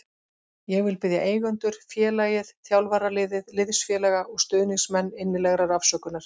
Ég vil biðja eigendur, félagið, þjálfaraliðið, liðsfélaga og stuðningsmenn innilegrar afsökunar.